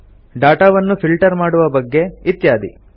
ಡಾಟಾವನ್ನು ಫಿಲ್ಟರ್ ಮಾಡುವ ಬಗ್ಗೆ ಇತ್ಯಾದಿ